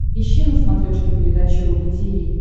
ищи на смотрешке передачу рубль ти ви